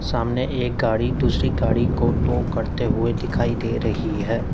सामने एक गाड़ी दूसरी गाड़ी को टो करते हुए दिखाई दे रही है।